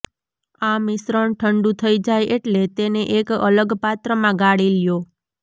આ મિશ્રણ ઠંડુ થઈ જાય એટલે તેને એક અલગ પાત્ર મા ગાળી લ્યો